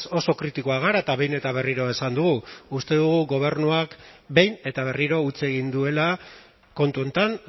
oso kritikoak gara eta behin eta berriro esan dugu uste dugu gobernuak behin eta berriro huts egin duela kontu honetan